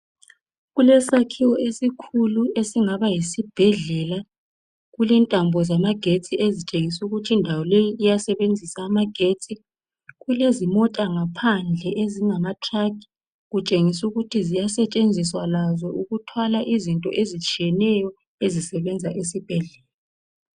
Kulesakhiwo esikhulu, esingaba yisibhedlela. Kulentambo zamagetsi. Ezitshengisa ukuthi indawo leyi iyasenzisa amagetsi. Kulezimota ngaphandle ezingamatruck. Kutshengisa ukuthi ziyasetshenziswa lazo. Ukuthwala izinto ezitshiyeneyo, ezisebenza esibhedlela.